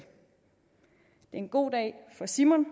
en god dag for simon